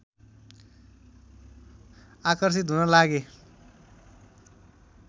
आकर्षित हुन लागे